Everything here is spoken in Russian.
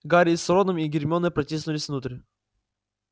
гарри с роном и гермионой протиснулись внутрь